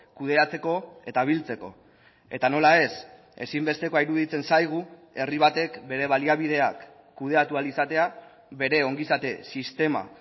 kudeatzeko eta biltzeko eta nola ez ezinbestekoa iruditzen zaigu herri batek bere baliabideak kudeatu ahal izatea bere ongizate sistema